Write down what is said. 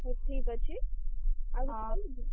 ହଉ, ଠିକ ଅଛି।